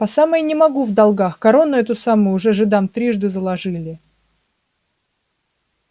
по самое не могу в долгах корону эту самую уже жидам трижды заложили